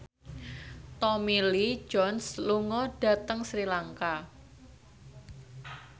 Tommy Lee Jones lunga dhateng Sri Lanka